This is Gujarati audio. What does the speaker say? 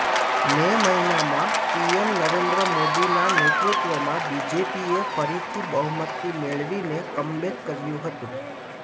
મે મહિનામાં પીએમ નરેન્દ્ર મોદીના નેતૃત્વમાં બીજેપીએ ફરીથી બહુમતિ મેળવીને કમબેક કર્યું હતું